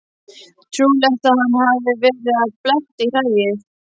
Trúlegt að hann hafi verið að bletta í hræið.